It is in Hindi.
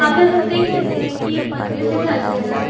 यहां पर हम देख सकते हैं कि एक मंदिर दिखाई दे रहा है।